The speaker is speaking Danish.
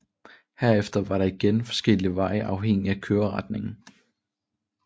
Herefter var der igen forskellige veje afhængig af køreretningen